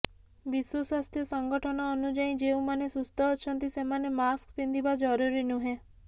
ବିଶ୍ବ ସ୍ବାସ୍ଥ୍ୟ ସଙ୍ଗଠନ ଅନୁଯାୟୀ ଯେଉଁମାନେ ସୁସ୍ଥ ଅଛନ୍ତି ସେମାନେ ମାସ୍କ ପିନ୍ଧିବା ଜରୁରୀ ନୁହେଁ